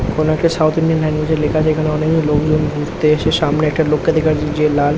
কোনো একটা south Indian language -এ লেখা যেখানে অনেকে লোকজন ঘুরতে এসে সামনে একটা লোককে দেখা যাচ্ছে যে লাল।